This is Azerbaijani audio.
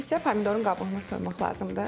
İndi isə pomidorun qabığını soymaq lazımdır.